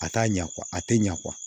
A t'a ɲɛ a tɛ ɲɛ